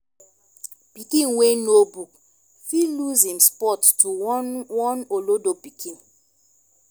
pikin wey know book fit lose em spot to one one olodo pikin